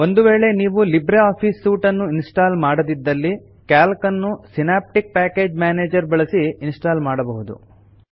ಒಂದು ವೇಳೆ ನೀವು ಲಿಬ್ರೆ ಆಫೀಸ್ ಸೂಟ್ ಅನ್ನು ಇನ್ಸ್ಟಾಲ್ ಮಾಡದಿದ್ದಲ್ಲಿ ಕ್ಯಾಲ್ಕ್ ನ್ನು ಸಿನಾಪ್ಟಿಕ್ ಪ್ಯಾಕೇಜ್ ಮ್ಯಾನೇಜರ್ ಬಳಸಿ ಇನ್ಸ್ಟಾಲ್ ಮಾಡಬಹುದು